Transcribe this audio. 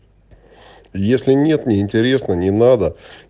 если нет не интересно не надо